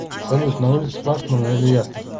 салют на улице пасмурно или ясно